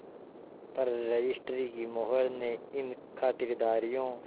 पर रजिस्ट्री की मोहर ने इन खातिरदारियों